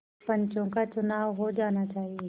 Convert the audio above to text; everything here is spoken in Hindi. पंचों का चुनाव हो जाना चाहिए